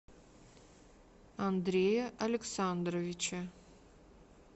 андрея александровича